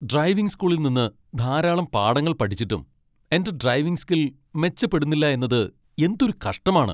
Driving സ്കൂളിൽ നിന്ന് ധാരാളം പാഠങ്ങൾ പഠിച്ചിട്ടും എന്റെ ഡ്രൈവിംഗ് സ്കിൽ മെച്ചപ്പെടുന്നില്ല എന്നത് എന്തൊരു കഷ്ടമാണ്.